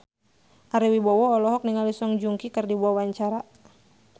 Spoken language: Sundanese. Ari Wibowo olohok ningali Song Joong Ki keur diwawancara